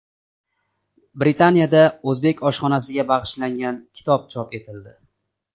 Britaniyada o‘zbek oshxonasiga bag‘ishlangan kitob chop etildi.